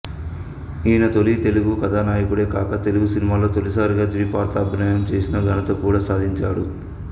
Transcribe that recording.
ఈయన తొలి తెలుగు కథానాయకుడే కాక తెలుగు సినిమాలలో తొలిసారిగా ద్విపాత్రాభినయం చేసిన ఘనత కూడా సాధించాడు